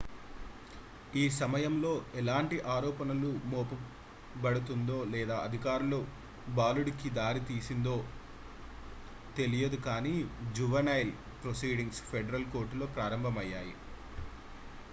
ఈ సమయంలో ఎలాంటి ఆరోపణలు మోపబడతందో లేదా అధికారులు బాలుడికి దారి తీసిందో తెలియదు కానీ జువెనైల్ ప్రొసీడింగ్స్ ఫెడరల్ కోర్టులో ప్రారంభమయ్యాయి